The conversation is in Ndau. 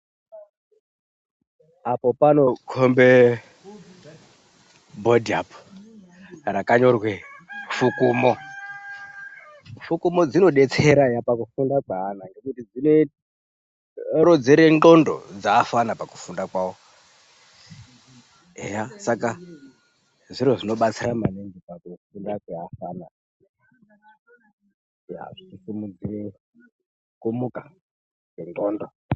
Apo panokombe bhodhi apo rakanyorwe fukumo , fukumo dzinodetsera eya pakufunda kweana ngekuti dzinorodzere ndxondo dzeafana pakufunda kwawo, eya saka zviro zvinobatsira maningi pakufunda kweafana eya zvichisimudzire kumuka kwendxondo.